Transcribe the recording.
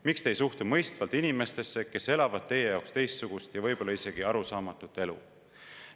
Miks te ei suhtu mõistvalt inimestesse, kes elavad teie jaoks teistsugust ja võib-olla isegi arusaamatut elu?